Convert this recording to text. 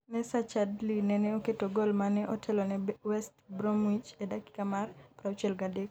Nacer Chadli nene oketo gol mane otelo ne west Bromwich e dakika mar 63.